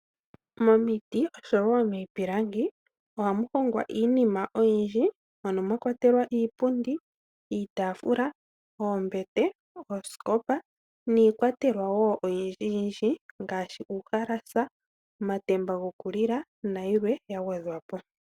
Momiiti oshowo miipilangi ohamu hongwa iinima oyindji . mono mwakwatelwa iipundi, iitafula, oombete, oosikopa iikwatelwa wo oyindji, ngaashi uuhalasa, omatemba goku lila nayilwe yagwedhwapo.